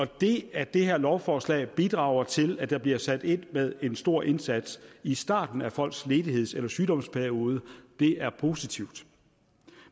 det at det her lovforslag bidrager til at der bliver sat ind med en stor indsats i starten af folks ledigheds eller sygdomsperiode er positivt